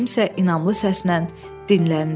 kimsə inamlı səslə dinləndi.